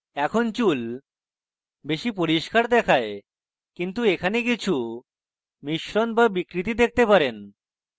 এখন চুল বেশি পরিস্কার দেখায় কিন্তু এখানে কিছু মিশ্রণ the বিকৃতি দেখতে পারেন